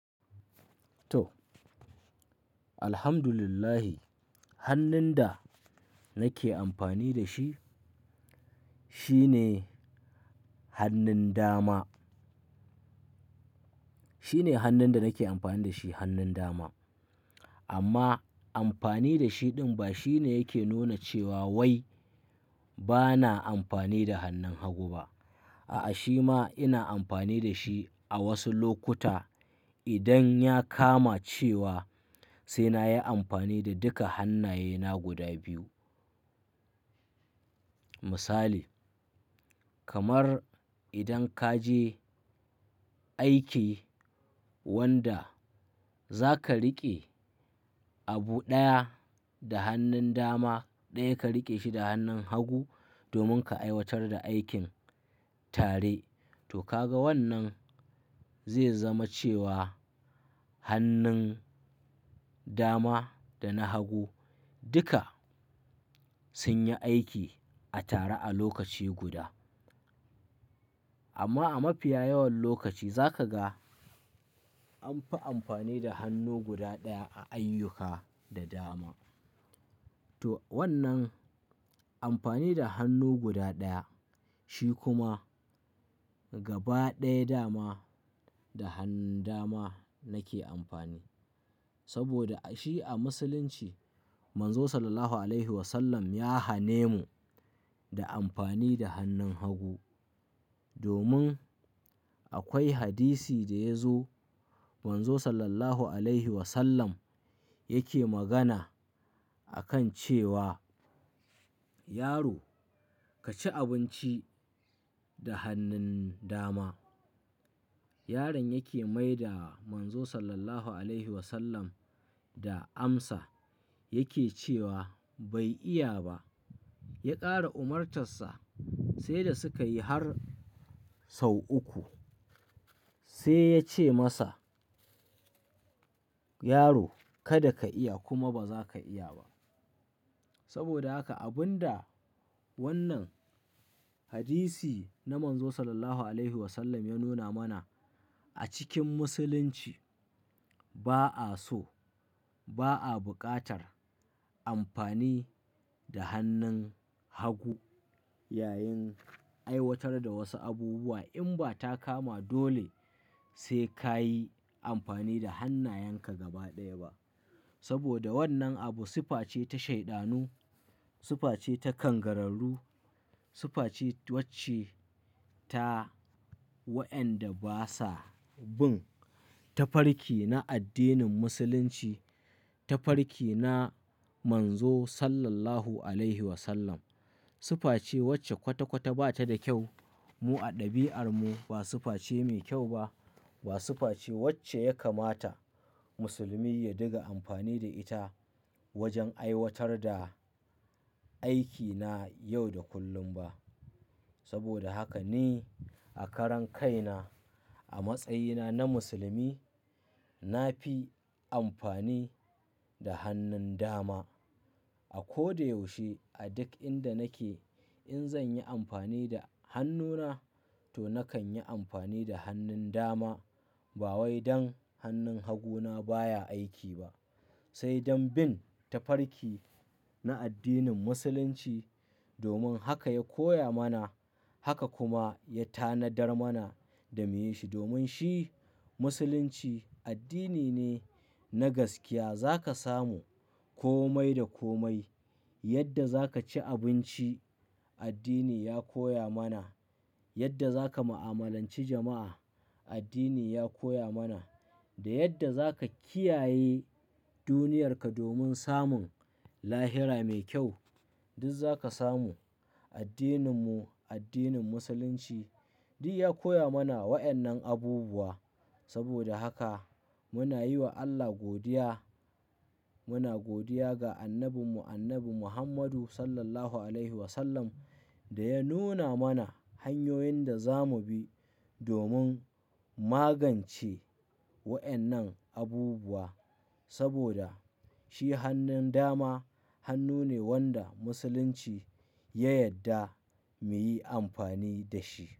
To, Alhamdulillah hannun da nake amfani da shi shine hannun dama. Shine hannun da nake amfani da shi hannun dama. Amma amfani da shi ɗin ba shine yake nuna cewa wai bana amfani da hannun hagu ba. A'a, shi ma ina amfani da shi a wasu lokuta. Idan ya kama cewa sai na yi amfani da duka hannayena guda biyu. Misali kamar idan ka je aiki wanda za ka riƙe abu ɗaya da hannun dama, ɗaya ka riƙe shi da hannun hagu domin ka aiwatar da aikin tare. To ka ga wannan zai zama cewa hannun dama da na hagu duka sun yi aiki a tare a lokaci guda. Amma a mafiya yawan lokaci za ka ga amfi amfani da hannu guda ɗaya a ayyuka da dama. To wannan amfani da hannu guda ɗaya shi kuma gaba ɗaya dama da hannun dama nake amfani. Saboda a shi a musulinci Manzo Sallallahu Alaihi Wasallam ya hane mu da amfani da hannun hagu. Domin akwai hadisi da ya zo Manzo Sallallahu Alaihi Wasallam yake magana a kan cewa "Yaro ka ci abunci da hannun dama." Yaran yake maida Manzo Sallallahu Alaihi Wasallam da amsa yake cewa "Bai iya ba." Ya ƙara umartar sa sai da suka yi har sau uku sai yace masa "Yaro kada ka iya kuma ba zaka iya ba." Saboda haka abunda wannan hadisi na Manzo Sallallahu Alaihi Wasallam ya nuna mana a cikin musulunci ba'a so, ba'a buƙatar amfani da hannin hagu yayin aiwatar da wasu abubuwa in ba ta kama dole sai ka yi amfani da hannayenka gaba ɗaya ba. Saboda wannan abu sifffa ce ta shaiɗanu, sifa ce ta kangararru, sifa ce wacce ta wa 'yanda basa bun tafarki na addinin musulunci, tafarki na Manzo Sallallahu Alaihi Wasallam. Sifa ce wacce kwata-kwata bata da kyau mu a ɗabi'armu. Ba sifa ce mai kyau ba. Ba sifa ce wacce ya kamata musulmi ya diga amfani da ita wajen aiwatar da aiki na yau da kullum ba. Saboda haka ni a karan kaina a matsayina na musulmi nafi amfani da hannun dama. A ko da yaushe a duk inda nake in zanyi amfani da hannuna to nakan yi amfani da hannun dama. Ba wai dan hannun haguna baya aiki ba, sai dan bin tafarki na addinin musulunci. Domun haka ya koya mana haka kuma ya tanadar mana da miyi shi. Domin shi musulunci addini ne na gaskiya. Zaka samu komai da komai yadda zaka ci abinci addini ya koya mana, yadda za ka mu'amalanci jama'a addini ya koya mana da yadda zaka kiyaye duniyar ka domun samun lahira mai kyau duk zaka samu. Addinin mu addinin musulunci du ya koya mana wa'yannan abubuwa saboda haka muna yi wa Allah godiya muna godiya ga Annabin mu Mahammadu Annabi Sallalahu Alaihi Wa Sallam da ya nuna mana hanyoyin da za mubi domun magance wa'yannan abubuwa. Saboda shi hannun dama hannu ne wanda musulunci ya yadda mu yi amfani da shi.